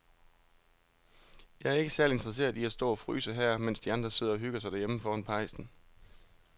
Jeg er ikke særlig interesseret i at stå og fryse her, mens de andre sidder og hygger sig derhjemme foran pejsen.